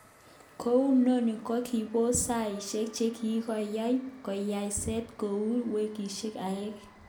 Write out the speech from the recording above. Kounononi kokibos saishek chekikonye konyoset kot koit weekihsek aeng